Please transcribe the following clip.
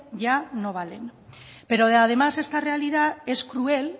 ya no vale pero además esta realidad es cruel